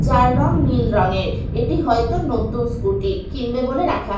যার রং নীল রঙের এটি হয়তো নতুন স্কুটি কিনবে বলে রাখা আ--